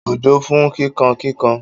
Òjò ń fún kíkankíkan.